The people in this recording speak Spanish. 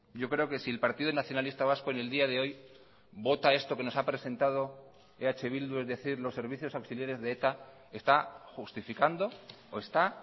yo creo que si el partido nacionalista vasco en el día de hoy vota esto que nos ha presentado eh bildu es decir los servicios auxiliares de eta está justificando o está